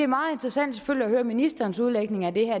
meget interessant at høre ministerens udlægning af det her